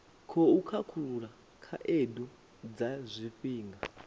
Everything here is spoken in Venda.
khou khakhulula khaedu dza zwifhinga